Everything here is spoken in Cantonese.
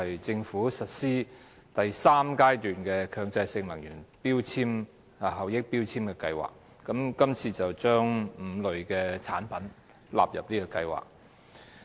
政府將實施第三階段強制性能源效益標籤計劃，將5類產品納入這項計劃。